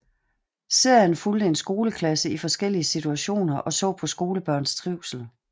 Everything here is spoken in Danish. Serien fulgte en skoleklasse i forskellige situationer og så på skolebørns trivsel